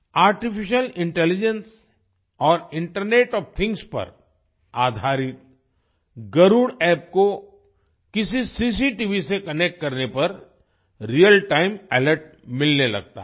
artificial intelligence और internet of things पर आधारित गरुड़ App को किसी सीसीटीवी से कनेक्ट करने पर रियल टाइम अलर्ट मिलने लगता है